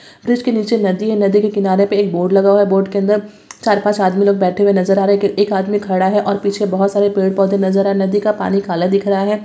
Bridge के नीचे नदी है| नदी के किनारे पर एक बोट लगा हुआ है| बोट के अंदर चार-पांच आदमी लोग बैठे हुए नजर आ रहे हैं| एक आदमी खड़ा है और पीछे बहुत सार पेड़-पौधे नजर आ रहे हैं| नदी का पानी काला दिख रहा है।